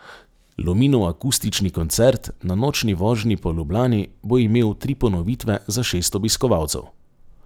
Luminoakustični koncert na nočni vožnji po Ljubljani bo imel tri ponovitve za šest obiskovalcev.